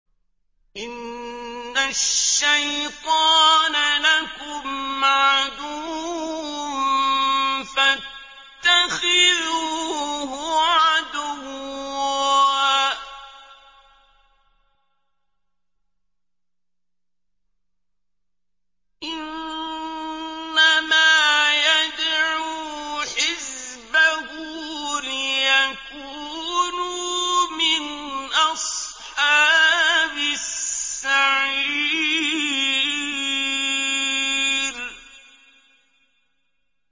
إِنَّ الشَّيْطَانَ لَكُمْ عَدُوٌّ فَاتَّخِذُوهُ عَدُوًّا ۚ إِنَّمَا يَدْعُو حِزْبَهُ لِيَكُونُوا مِنْ أَصْحَابِ السَّعِيرِ